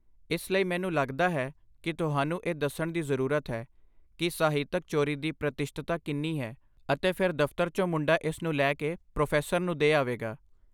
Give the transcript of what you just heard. ਇਸ ਲਈ, ਮੈਨੂੰ ਲੱਗਦਾ ਹੈ ਕਿ ਤੁਹਾਨੂੰ ਇਹ ਦੱਸਣ ਦੀ ਜ਼ਰੂਰਤ ਹੈ ਕਿ ਸਾਹਿਤਕ ਚੋਰੀ ਦੀ ਪ੍ਰਤੀਸ਼ਤਤਾ ਕਿੰਨੀ ਹੈ, ਅਤੇ ਫਿਰ ਦਫਤਰ ਚੋਂ ਮੁੰਡਾ ਇਸ ਨੂੰ ਲੈ ਕੇ ਪ੍ਰੋ ਨੂੰ ਦੇ ਆਵੇਗਾ